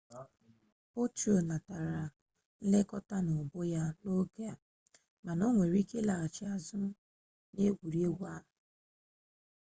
potro natara nlekota na ubu ya n'oge a mana were ike laghachi azu n'egwuregwu ahu